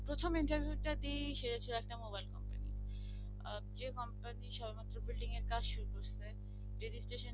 প্রথম interview টা দিয়ে সেটা ছিল একটা mobile company তে আহ যে company তে সবেমাত্র building এর কাজ শুরু হয়েছে